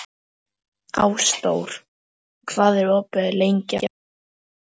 Ásdór, hvað er opið lengi á föstudaginn?